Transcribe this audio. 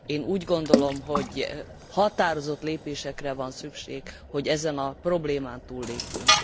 Én úgy gondolom, hogy határozott lépésekre van szükség, hogy ezen a problémán túllépjünk.